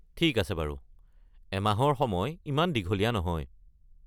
ঠিক আছে বাৰু, এমাহৰ সময় ইমান দীঘলীয়া নহয়।